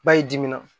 Ba y'i dimi